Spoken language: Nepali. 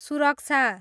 सुरक्षा